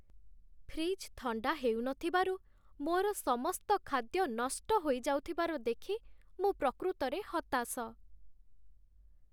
Fridge ଥଣ୍ଡା ହେଉନଥିବାରୁ ମୋର ସମସ୍ତ ଖାଦ୍ୟ ନଷ୍ଟ ହୋଇଯାଉଥିବାର ଦେଖି ମୁଁ ପ୍ରକୃତରେ ହତାଶ।